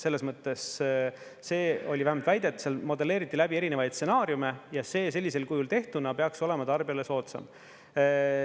Selles mõttes see oli vähemalt väidet … seal modelleeriti läbi erinevaid stsenaariume ja see sellisel kujul tehtuna peaks olema tarbijale soodsam.